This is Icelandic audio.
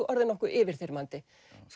orðið nokkuð yfirþyrmandi